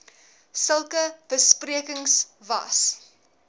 sulke besprekings was